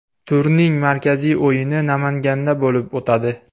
Turning markaziy o‘yini Namanganda bo‘lib o‘tadi.